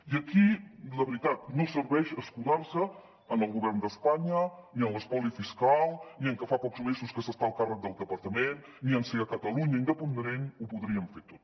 i aquí la veritat no serveix escudar se en el govern d’espanya ni en l’espoli fiscal ni en que fa pocs mesos que s’està al càrrec del departament ni en si en una catalunya independent ho podríem fer tot